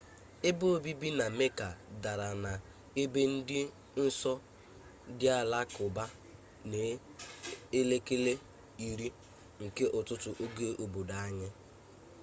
ebe obibi na mecca dara na ebe di nso ndi alakuba n'elekere 10 nke ututu oge obodo anyi